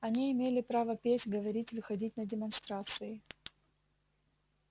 они имели право петь говорить выходить на демонстрации